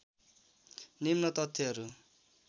निम्न तथ्यहरू